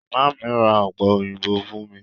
Màmá mi ra ọ̀pẹ òyìnbó fún mi.